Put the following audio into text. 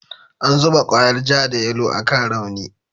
An zuba kwayar ja da yalo akan rauni.